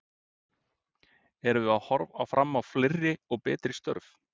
Erum við að horfa fram á fleiri og betri störf?